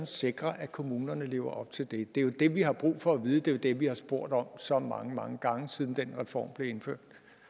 sikre at kommunerne lever op til det det er jo det vi har brug for at vide det er det vi har spurgt om så mange mange gange siden den reform blev indført